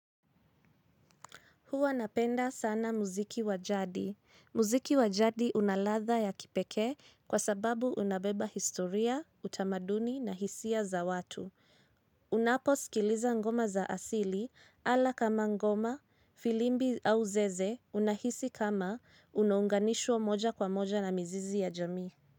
Huwa napenda sana muziki wa jadi. Muziki wa jadi una ladha ya kipekee kwa sababu unabeba historia, utamaduni na hisia za watu. Unapo sikiliza ngoma za asili ala kama ngoma, filimbi au zeze unahisi kama unonganishwa moja kwa moja na mizizi ya jamii.